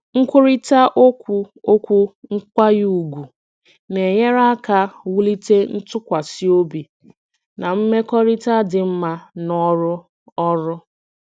nkwurịta okwu okwu nkwanye ùgwù na-enyere aka wulite ntụkwasị obi na mmekọrịta dị mma n'ọrụ ọrụ.